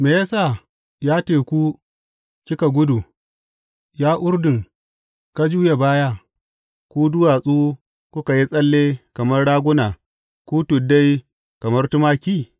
Me ya sa, ya teku, kika gudu, Ya Urdun, ka juya baya, ku duwatsu, kuka yi tsalle kamar raguna, ku tuddai, kamar tumaki?